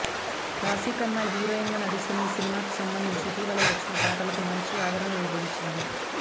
Rashi Khanna heroine గా నటిస్తున్న ఈ సినిమాకు సంబందించి ఇటీవల వచ్చిన పాటలకు మంచి ఆదరణ లభించింది